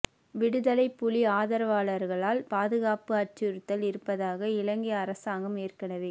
விடுதலைப் புலி ஆதரவாளர்களால் பாதுகாப்பு அச்சுறுத்தல் இருப்பதாக இலங்கை அரசாங்கம் ஏற்கனவே